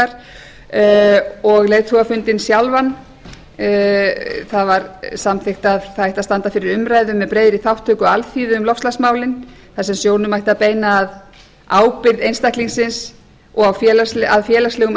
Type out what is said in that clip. um loftslagsbreytingar og leiðtogafundinn sjálfan það var samþykkt að það ætti að standa fyrir umræðu með breiðri þátttöku alþýðu um loftslagsmálin þar sem sjónum ætti að beina að ábyrgð einstaklingsins og að félagslegum